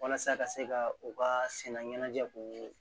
Walasa ka se ka u ka sɛnɛ ɲɛnajɛ k'u